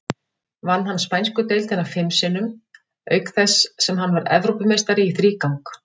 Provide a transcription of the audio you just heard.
Vann hann spænsku deildina fim sinnum, auk þess sem hann varð Evrópumeistari í þrígang.